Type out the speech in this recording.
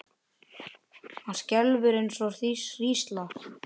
Hann skelfur eins og hrísla.